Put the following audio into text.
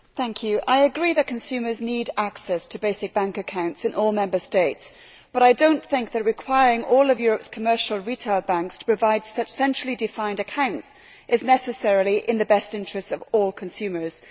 Mr President, I agree that consumers need access to basic bank accounts in all Member States, but I do not think that requiring all Europe's commercial retail banks to provide such centrally defined accounts is necessarily in the best interests of all consumers.